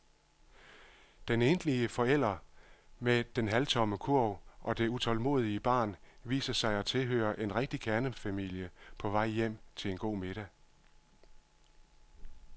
Den enlige forælder med den halvtomme kurv og det utålmodige barn viser sig at tilhøre en rigtig kernefamilie på vej hjem til en god middag.